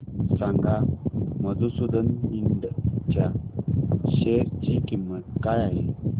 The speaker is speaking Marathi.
सांगा मधुसूदन इंड च्या शेअर ची किंमत काय आहे